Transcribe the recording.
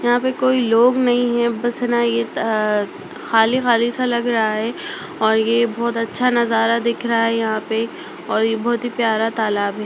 यहां पर कोई लोग नहीं है खाली-खाली सा लग रहा है और ये बहुत अच्छा नजारा दिख रहा है यहां पे और ये बहुत ही प्यारा तालाब है।